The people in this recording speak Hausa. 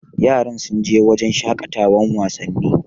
Yaran sun je wurin shaƙatawan wasanni?